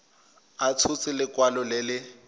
a tshotse lekwalo le le